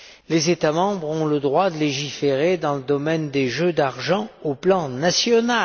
Les États membres ont le droit de légiférer dans le domaine des jeux d'argent au plan national.